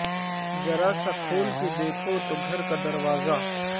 ذرا سا کھول کے دیکھو تو گھر کا دروازہ